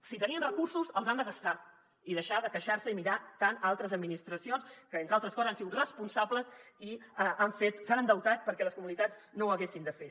si tenien recursos els han de gastar i deixar de queixar se i mirar tant a altres administracions que entre altres coses han sigut responsables i s’han endeutat perquè les comunitats no ho haguessin de fer